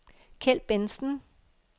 Keld Bentzen